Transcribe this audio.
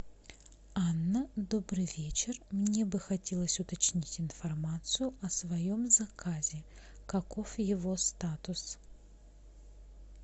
анна добрый вечер мне бы хотелось уточнить информацию о своем заказе каков его статус